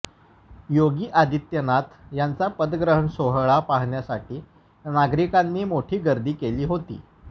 योगी आदित्यनाथ यांचा पदग्रहण सोहळा पाहण्यासाठी नागरिकांनीही मोठी गर्दी केली होती